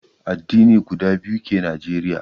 Addini guda biyu ke Nijeriya